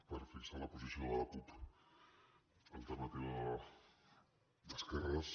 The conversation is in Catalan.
per fixar la posició de la cup alternativa d’esquerres